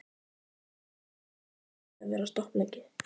Jóhann: Hvað búist þið við að vera stopp lengi?